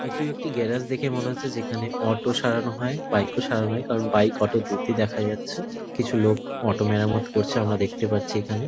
এটিও একটি গ্যারাজ দেখে মনে হচ্ছে যেখানে অটো সারানো হয় বাইক -ও সারানো হয় কারণ বাইক অটো দুটোই দেখা যাচ্ছে। কিছু লোক অটো মেরামত করছে আমরা দেখতে পারছি এখানে।